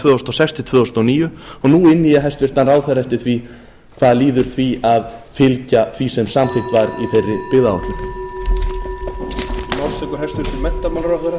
þúsund og sex til tvö þúsund og níu og nú inni ég hæstvirtan ráðherra eftir því hvað líður því að fylgja því sem samþykkt var í þeirri byggðaáætlun